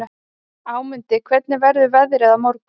Ámundi, hvernig verður veðrið á morgun?